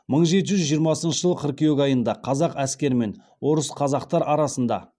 мың жеті жүз жиырмасыншы жылы қыркүйек айында қазақ әскері мен орыс қазақтар арасында